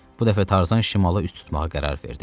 Bu dəfə Tarzan şimala üz tutmağa qərar verdi.